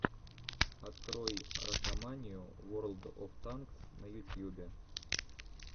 открой ракоманию ворлд оф танкс на ютьюбе